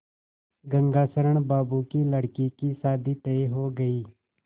गंगाशरण बाबू की लड़की की शादी तय हो गई